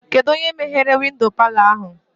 Kedụ onye meghere windo palọ ahụ?